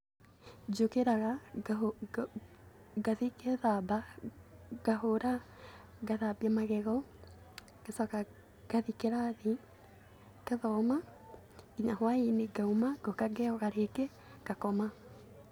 Njũkĩraga, ngathiĩ ngethamba, ngahũra, ngathambia magego ngacoka ngathiĩ kĩrathi ngathoma nginya hwaĩ-inĩ ngauma, ngoka ngeyoga rĩngĩ, ngakoma.